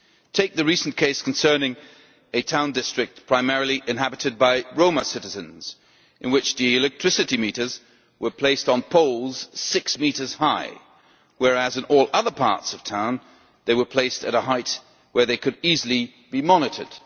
Take the recent case concerning a town district inhabited primarily by Roma citizens, in which the electricity meters were placed on poles six metres high, whereas in all other parts of town they were placed at a height where they could easily be monitored.